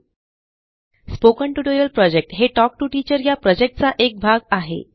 spoken tutorial project हे talk to teacher या प्रॉजेक्टचा एक भाग आहे